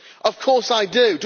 Of course I do.